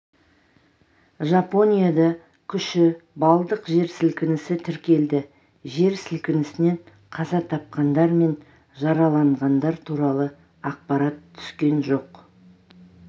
жапонияда күші балдық жер сілкінісі тіркелді жер сілкінісінен қаза тапқандар мен жараланғандар туралы ақпарат түскен жоқ